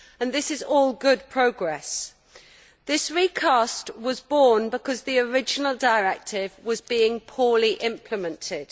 This is all good progress. This recast was born because the original directive was being poorly implemented.